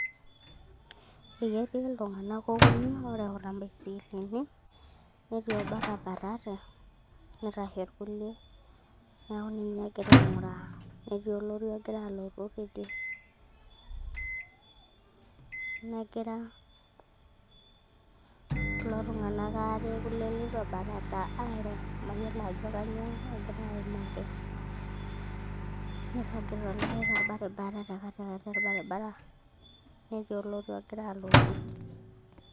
eketii iltunganak okuni ooreuta ibaisikilini, netii obo otabatate, neitashe irkulie, neeku ninye egirae aing'uraa, netii olori ogira alotu teidie, negira kulo tunganak aare leitu ebatata, aairo, mayiolo ajo kainyoo egira aimaki, neiragita olikae tolbaribara, netii orori ogira alotu.